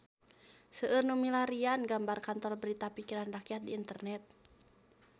Seueur nu milarian gambar Kantor Berita Pikiran Rakyat di internet